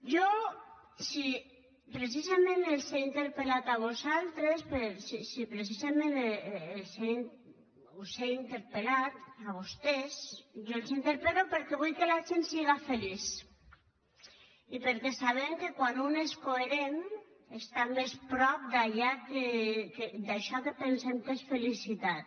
jo si precisament us he interpel·lat a vosaltres si precisament els he interpel·lat a vostès jo els interpel·lo perquè vull que la gent sigui feliç i perquè sabem que quan un és coherent està més a prop d’això que pensem que és felicitat